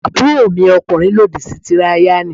Àbúròmi ọkùnrin lòdì sí tíráyánì.